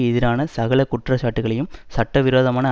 எதிரான சகல குற்றச்சாட்டுகளையும் சட்டவிரோதமான